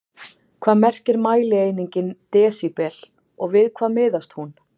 Hvað merkir mælieiningin desíbel og við hvað miðast hún?